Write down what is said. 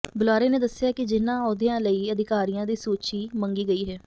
ਬੁਲਾਰੇ ਨੇ ਦੱਸਿਆ ਕਿ ਜਿਹਨਾਂ ਅਹੁਦਿਆਂ ਲਈ ਅਧਿਕਾਰੀਆਂ ਦੀ ਸੂਚੀ ਮੰਗੀ ਗਈ ਹੈ